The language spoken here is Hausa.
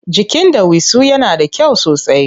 Jikin ɗawisu yana da kyau sosai.